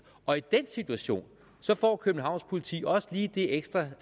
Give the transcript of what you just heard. og i den situation får københavns politi også lige det ekstra